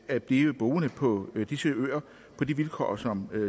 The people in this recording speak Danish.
at blive boende på disse øer på de vilkår som